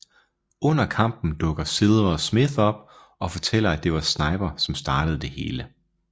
Under kampen dukker Silver og Smith op og fortæller at det var Sniper som startede det hele